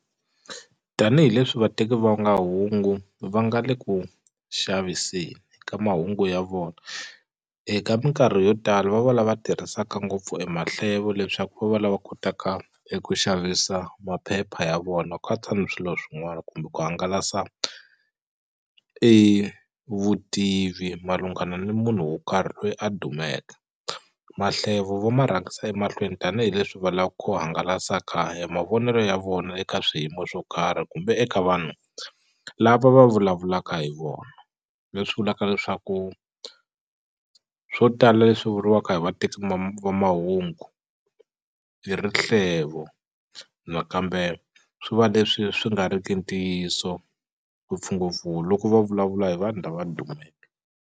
Tanihi leswi vateki va nga hungu va nga le ku xaviseni ka mahungu ya vona eka minkarhi yo tala va va lava tirhisaka ngopfu e mahlevo leswaku va va lava kotaka eku xavisa maphepha ya vona katsa ni swilo swin'wana kumbe ku hangalasa e vutivi malungana ni munhu wo karhi loyi a dumeke mahlevo vo ma rhangisa emahlweni tanihileswi va la ku hangalasaka e mavonelo ya vona eka swiyimo swo karhi kumbe eka vanhu lava va vulavulaka hi vona leswi vulaka leswaku swo tala leswi vuriwaka hi vateki va mahungu i rihlevo nakambe swi va leswi swi nga riki ntiyiso ngopfungopfu loko va vulavula hi vanhu lava dumeke.